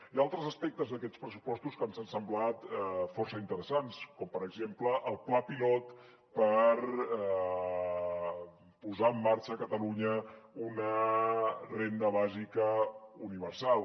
hi ha altres aspectes d’aquests pressupostos que ens han semblat força interessants com per exemple el pla pilot per posar en marxa a catalunya una renda bàsica universal